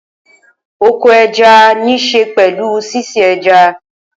Oko ẹja níṣe pẹ̀lú sísin ẹja.